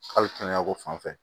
Hali kɛnɛya ko fanfɛ